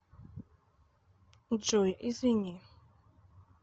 джой извини